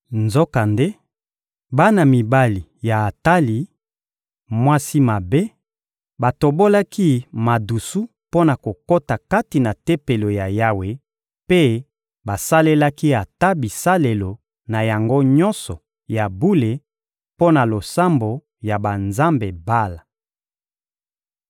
Nzokande, bana mibali ya Atali, mwasi mabe, batobolaki madusu mpo na kokota kati na Tempelo ya Yawe mpe basalelaki ata bisalelo na yango nyonso ya bule mpo na losambo ya banzambe Bala.